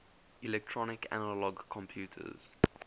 electronic analog computers